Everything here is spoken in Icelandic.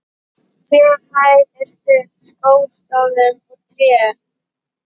Hver hæð var studd skástoðum úr tré.